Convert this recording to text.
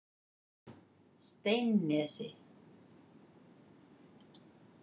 Steinnesi